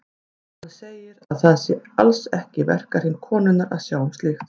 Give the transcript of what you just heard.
Hann segir að það sé alls ekki í verkahring konunnar að sjá um slíkt.